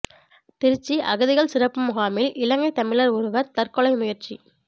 திருச்சி அகதிகள் சிறப்பு முகாமில் இலங்கை தமிழர் ஒருவர் தற்கொலை முயற்சி